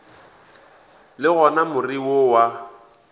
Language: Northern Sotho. le gona more wo wa